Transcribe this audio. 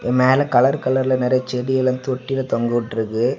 அது மேல கலர் கலர்ல நெறைய செடி எல்லாம் தொட்டில் தொங்கவிட்டு இருக்கு.